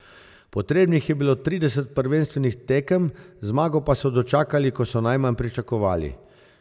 Potrebnih je bilo trideset prvenstvenih tekem, zmago pa so dočakali, ko so najmanj pričakovali.